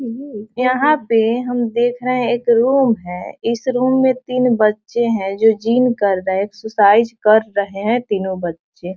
यहाँ पे हम देख रहे है एक रूम है इस रूम में तीन बच्चे है जो जिम कर रहे है एक्सरसाइजेज कर रहे है तीनो बच्चे।